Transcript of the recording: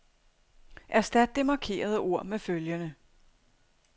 Erstat det markerede ord med følgende.